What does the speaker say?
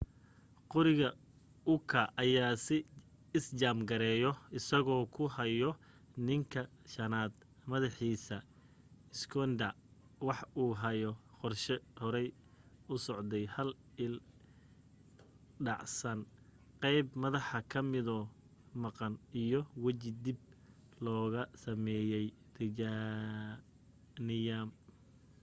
qoriga uka ayaa is jaam gareeyo asagoo ku haayo ninka shanaad madaxiisa schneider wax uu haya qorshe horay usocday hal il dhacsan qeyb madaxa ka midoo maqan iyo waji dib looga sameeye titaniyam